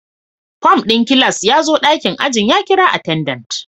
Form din class ya zo dakin ajin ya kira attendant